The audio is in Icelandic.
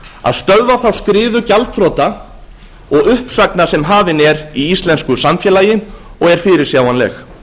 að stöðva þá skriðu gjaldþrota og uppsagna sem hafin er í íslensku samfélagi og er fyrirsjáanleg